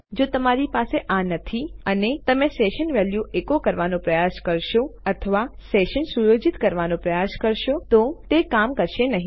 તેથી જો તમારી પાસે આ નથી અને તમે સેશન વેલ્યુ એકો કરવાનો પ્રયાસ કરશો અથવા સેશન સુયોજિત કરવાનો પ્રયાસ કરશો તો તે કામ કરશે નહિં